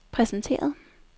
præsenteret